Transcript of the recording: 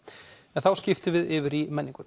en þá skiptum við yfir í menninguna